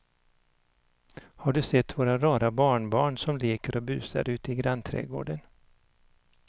Har du sett våra rara barnbarn som leker och busar ute i grannträdgården!